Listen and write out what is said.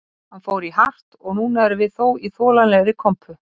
Hann fór í hart og núna erum við þó í þolanlegri kompu